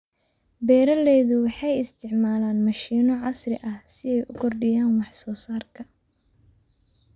Beeraleydu waxay isticmaalaan mashiino casri ah si ay u kordhiyaan wax soo saarka.